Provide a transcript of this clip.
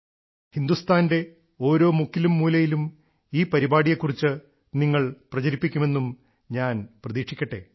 ഹിന്ദുസ്ഥാനിന്റെ ഓരോ മുക്കിലും മൂലയിലും ഈ പരിപാടിയെ കുറിച്ച് നിങ്ങൾ പ്രചരിപ്പിക്കുമെന്നും ഞാൻ പ്രതീക്ഷിക്കട്ടെ